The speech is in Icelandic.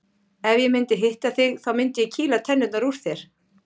Ef ég myndi hitta þig þá myndi ég kýla tennurnar úr þér.